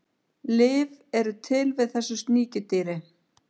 lyf eru til við þessu sníkjudýri